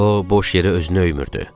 O boş yerə özünü öymürdü.